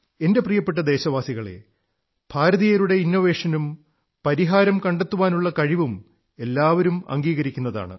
എന്റെ പ്രിയപ്പെട്ട ദേശവാസികളേ ഭാരതീയരുടെ ഇന്നോവേഷനും പരിഹാരം കണ്ടെത്താനുള്ള കഴിവും എല്ലാവരും അംഗീകരിക്കുന്നതാണ്